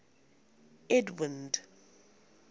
edwind